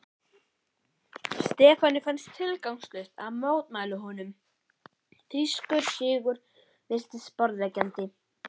Stefáni fannst tilgangslaust að mótmæla honum, þýskur sigur virtist borðleggjandi.